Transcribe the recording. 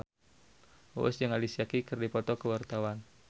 Uus jeung Alicia Keys keur dipoto ku wartawan